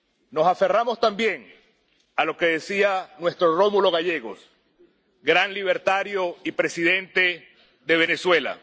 Nos aferramos también a lo que decía nuestro Rómulo Gallegos, gran libertario y presidente de Venezuela.